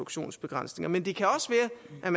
at